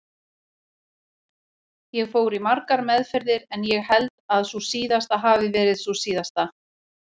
Ég fór í margar meðferðir en ég held að sú síðasta hafi verið sú síðasta.